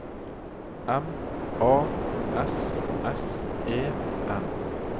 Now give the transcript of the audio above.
M A S S E N